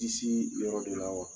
Disi yɔrɔ de la wa